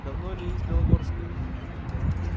давно ли из белогорска